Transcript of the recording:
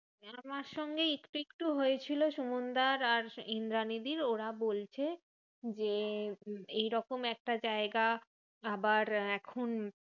আমার সঙ্গে একটু একটু হয়েছিল সুমানদার আর ইন্দ্রানীদির। ওরা বলছে যে এইরকম একটা জায়গা আবার এখন